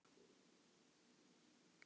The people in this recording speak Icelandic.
Þín mamma og Magnús.